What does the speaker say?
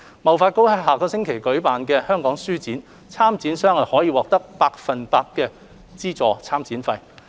貿發局將於下周舉行香港書展，參展商可獲百分百資助參展費。